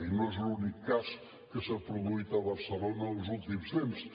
i no és l’únic cas que s’ha produït a barcelona els últims temps